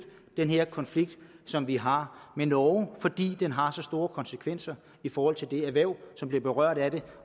den konflikt som vi har med norge fordi den har så store konsekvenser i forhold til det erhverv som bliver berørt af det